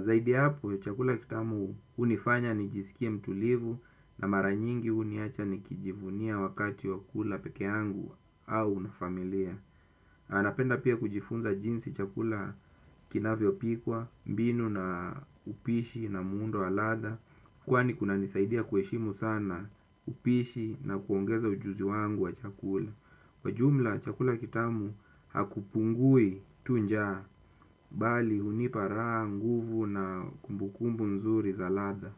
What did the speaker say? Zaidi ya hapo, chakula kitamu unifanya nijisikie mtulivu na mara nyingi uniacha nikijivunia wakati wa kula peke yangu au na familia. Anapenda pia kujifunza jinsi chakula kinavyopikwa, mbinu na upishi na muundo ladha. Kwani kunanisaidia kuheshimu sana upishi na kuongeza ujuzi wangu wa chakula. Kwa jumla chakula kitamu hakupungui tu njaa. Mbali hunipa raha, nguvu, na kumbukumbu nzuri za ladha.